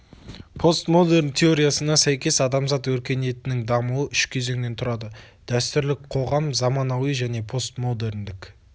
постмодерн теориясына сәйкес адамзат өркениетінің дамуы үш кезеңнен тұрады дәстүрлі қоғам заманауи және постмодерндік